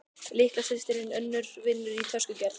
Litla systirin Unnur vinnur í töskugerð.